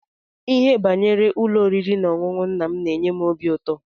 Ihe banyere ụlọ oriri na-ọṅụṅụ nna m n'enye m óbị ụtọ.